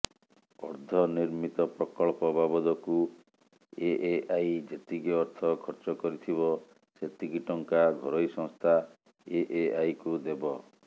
ଅର୍ଦ୍ଧନିର୍ମିତ ପ୍ରକଳ୍ପ ବାବଦକୁ ଏଏଆଇ ଯେତିକି ଅର୍ଥ ଖର୍ଚ୍ଚ କରିଥିବ ସେତିକି ଟଙ୍କା ଘରୋଇ ସଂସ୍ଥା ଏଏଆଇକୁ ଦେବ